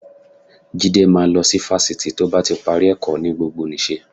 Jídé máa lọ sí fásitì tó bá ti parí ẹ̀kọ́ ní gbogbonìṣe